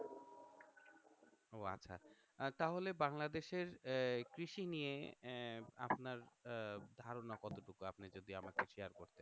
আহ তাহলে বাংলাদেশের আহ কৃষি নিয়ে আহ আপনার আহ ধারণা কতটুকু আপনি যদি আমাকে শেয়ার করতেন